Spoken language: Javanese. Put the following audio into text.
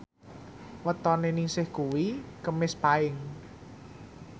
wetone Ningsih kuwi Kemis Paing